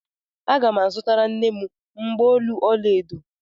Aga m azụtara nne m mgbaolu ọla edo.